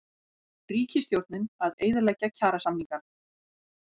Ríkisstjórnin að eyðileggja kjarasamningana